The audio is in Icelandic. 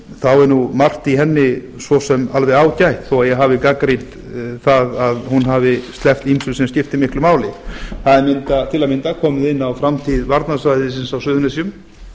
þá er nú margt í henni svo sem alveg ágætt þó ég hafi gagnrýnt það að hún hafi sleppt ýmsu sem skiptir miklu máli það er til að mynda komið inn á framtíð varnarsvæðisins á suðurnesjum